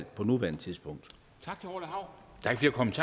på nuværende tidspunkt